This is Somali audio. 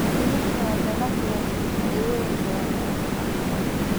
Digirta waa dalag leh faa'iidooyin badan oo caafimaad.